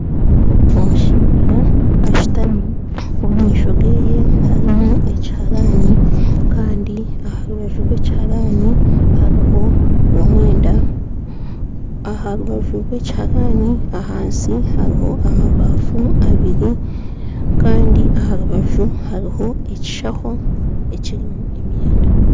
Omushaija ashitami omu maisho geye harimu ekiharani kandi aha rubaju rwa ekiharani hariho omwenda aha rubaju rwa ekiharani ahansi hariho amabafu abiri kandi aha rubaju hariho ekishaho ekirimu emyenda